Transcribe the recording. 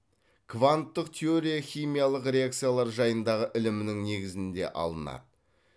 кванттық теория химиялық реакциялар жайындагы ілімнің негізінде алынады